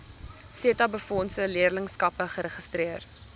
setabefondse leerlingskappe geregistreer